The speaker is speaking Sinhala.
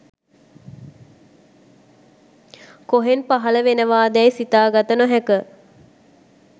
කොහෙන් පහලවනවාදැයි සිතා ගත නොහැක.